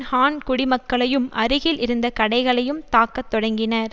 ஹான் குடிமக்களையும் அருகில் இருந்த கடைகளையும் தாக்கத் தொடங்கினர்